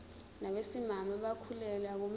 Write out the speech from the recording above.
nabesimame abakhulelwe akumele